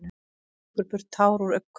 Strýkur burtu tár úr augnakrók.